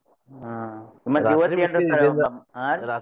ಹಾ ಹಾ ರೀ.